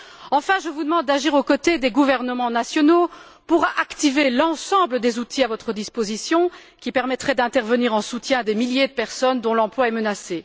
Enfin, je vous demande d'agir aux côtés des gouvernements nationaux pour activer l'ensemble des outils à votre disposition, qui permettraient d'intervenir en soutien à des milliers de personnes dont l'emploi est menacé.